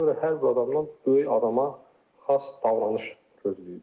Ona görə hər bir adamdan böyük adama xas davranış gözləyirik.